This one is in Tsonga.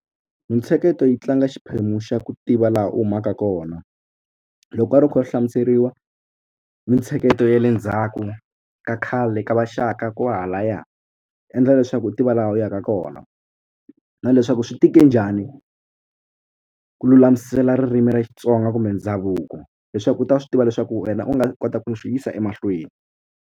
Mintsheketo yi tlanga xiphemu xa ku tiva laha u humaka kona loko u karhi u kha u hlamuseriwa mintsheketo ya le ndzhaku ka khale ka va Shaka kwahalaya endla leswaku u tiva laha u yaka kona na leswaku swi tike njhani ku lulamisela ririmi ra Xitsonga kumbe ndhavuko leswaku u ta swi tiva leswaku wena u nga kota ku swi yisa emahlweni.